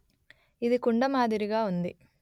ఇది కుండ మాదిరిగా ఉంది